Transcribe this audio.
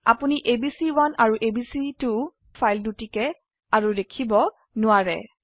আপোনি এবিচি1 আৰু এবিচি2 ফাইল দুটিকে আৰু দেখিব নোৱাৰে